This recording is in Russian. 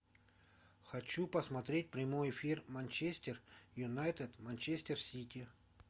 хочу посмотреть прямой эфир манчестер юнайтед манчестер сити